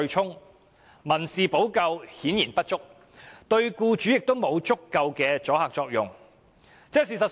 由此可見，民事補救顯然不足，對僱主亦無足夠阻嚇作用。